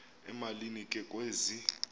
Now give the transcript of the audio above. emalini ke kwezi